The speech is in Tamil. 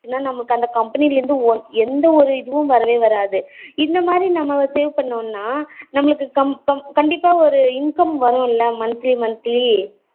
அப்டின்னா நமக்கு அந்த company ல இருந்து எந்த ஒரு இதுவும் வரவே வராது இந்த மாறி நாம pay பண்ணோம்னா நமக்கு கண்டிப்பா ஒரு income வரும்ல monthly monthly